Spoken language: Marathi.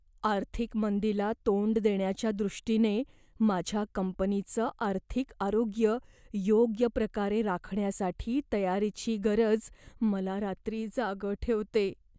आर्थिक मंदीला तोंड देण्याच्या दृष्टीने माझ्या कंपनीचं आर्थिक आरोग्य योग्य प्रकारे राखण्यासाठी तयारीची गरज मला रात्री जागं ठेवते.